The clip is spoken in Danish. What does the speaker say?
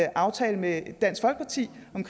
aftale med dansk folkeparti om